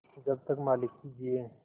जब तक मालिक जिये